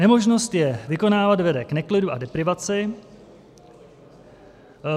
Nemožnost je vykonávat vede k neklidu a deprivaci.